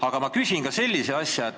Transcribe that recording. Aga ma küsin ka sellist asja.